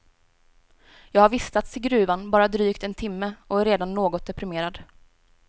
Jag har vistats i gruvan bara drygt en timme och är redan något deprimerad.